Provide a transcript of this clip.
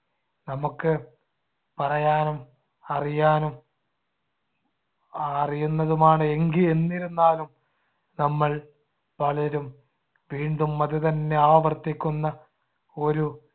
നമുക്ക് പറയാനും അറിയാനും അറിയുന്നതുമാണ്. എങ്കി~ എന്നിരുന്നാലും നമ്മൾ പലരും വീണ്ടും അതുതന്നെ ആവർത്തിക്കുന്ന ഒരു